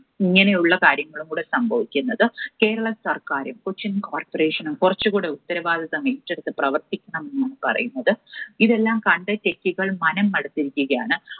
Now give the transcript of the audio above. ഇങ്ങനെയുള്ള കാര്യങ്ങൾ ഇവിടെ സംഭവിക്കുന്നത്. കേരള സർക്കാരും കൊച്ചിൻ Corporation ഉം കുറച്ചുകൂടി ഉത്തരവാദിത്വമേറ്റെടുത്ത് പ്രവർത്തിക്കണമെന്നാണ് പറയുന്നത്. ഇതെല്ലാം കണ്ട് techie കൾ മനം മടുത്തിരിക്കുകയാണ്.